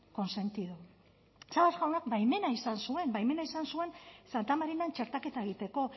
consentido sabas jaunak baimena izan zuen baimena izan zuen santa marinan txertaketa egiteko